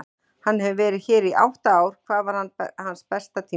Hann hefur verið hér í átta ár og hvað var hans besta tímabil?